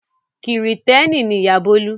Kìrìtẹ́ẹ́nì ni ìyá Bólú.